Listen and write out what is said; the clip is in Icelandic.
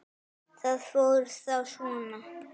Það fór þá svona.